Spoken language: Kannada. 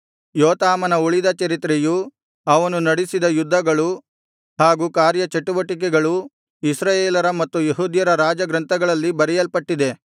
ಯೋತಾಮನ ಉಳಿದ ಚರಿತ್ರೆಯೂ ಅವನು ನಡೆಸಿದ ಯುದ್ಧಗಳು ಹಾಗೂ ಕಾರ್ಯ ಚಟುವಟಿಕೆಗಳು ಇಸ್ರಾಯೇಲರ ಮತ್ತು ಯೆಹೂದ್ಯರ ರಾಜ ಗ್ರಂಥಗಳಲ್ಲಿ ಬರೆಯಲ್ಪಟ್ಟಿದೆ